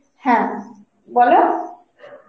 হ্যাঁ বলো